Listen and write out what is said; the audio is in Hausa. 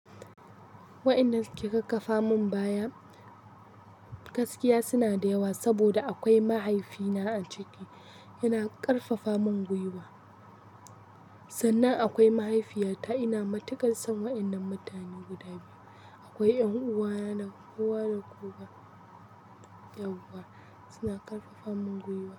Wa'innan suke kakkafa mun baya, gaskiya suna da yawa saboda akwai mahaifina a ciki, yana ƙarfafa mun gwiwa, sannan akwai mahaifiyata ina matukar son wa'innan mutane guda biyu. Akwai 'yan uwana, kowa da kowa yawwa suna ƙarfafa mun gwiwa.